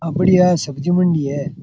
अपनी यहा सब्जी मंडी है।